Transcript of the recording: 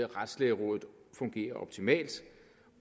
retslægerådet fungerer optimalt